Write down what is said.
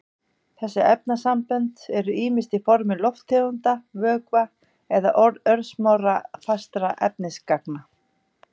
Þessi efnasambönd eru ýmist á formi lofttegunda, vökva eða örsmárra fastra efnisagna.